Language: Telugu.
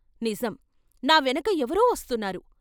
నిజం ! నా వెనక ఎవరో వస్తున్నారు.